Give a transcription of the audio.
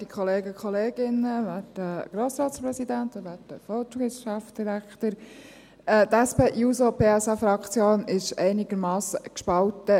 Die SP-JUSO-PSA ist bei dieser Motion, bei dieser Frage einigermassen gespalten.